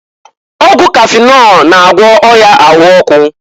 Ọgwụ kafịnọl na-agwọ ọya ahụ ọkụ.